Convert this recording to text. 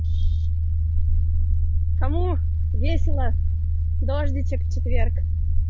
кому весело дождичек в четверг